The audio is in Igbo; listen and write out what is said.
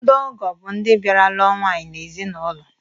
Ndo ọgọ bụ ndị bịara lụọ nwaanyị n'ezinụlọ